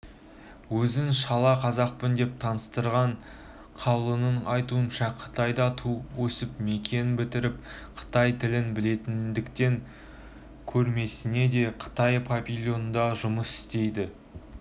өзін шала қазақпын деп таныстырған қауланның айтуынша қытайда туып-өсіп мектеп бітіріпті қытай тілін білетіндіктен көрмесінде қытай павильонында жұмыс істейді